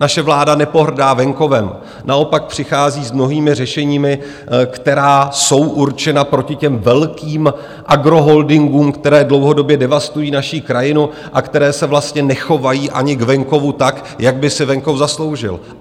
Naše vláda nepohrdá venkovem, naopak přichází s mnohými řešeními, která jsou určena proti těm velkým agroholdingům, které dlouhodobě devastují naši krajinu a které se vlastně nechovají ani k venkovu tak, jak by si venkov zasloužil.